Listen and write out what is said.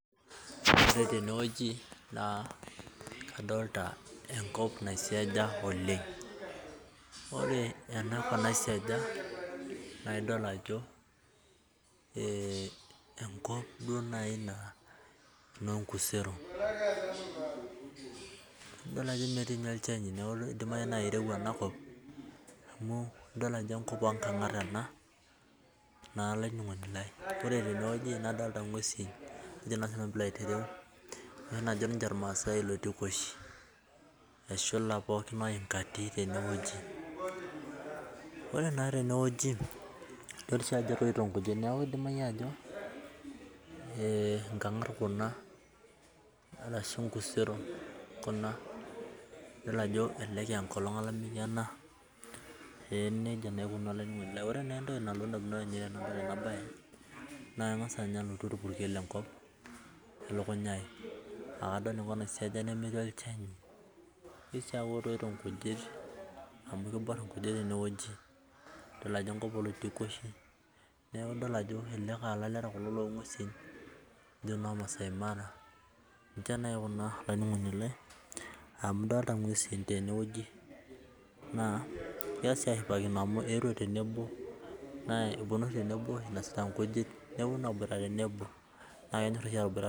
Ore tenewueji na kadolita enkop naisiasha oleng ore enakop naisiasha naa enkop naaji enkusero edol ninye Ajo metii ninye olchani neeku edimayu naa kirowua enakop ore naa tenewueji nadolita ng'uesi Kuna najo irmasai eloitikoshi eshula oinkatin ore naa tenewueji edol Ajo etoito nkijit neeku edimai naa nkongat Kuna ashu nkuseron Kuna edol Ajo elelek aa enkolog olamei ena ore naa entoki nalotu edamunot Tena mbae naa keng'as alotu orpurkel elukunya ai tenadol enkop nasiaja nemetii olchani nitokii aaku etoito nkujit amu kibor enkujit tenewueji nadolita dol Ajo enkop iloitikoshi neeku kelelek aa elaleta loo ng'uesi tee maasai mara amu edolita ng'uesi tenewueji egira ashipakino amu etuo tenebo enosita nkujit tenebo naa kenyor oshi ataboitata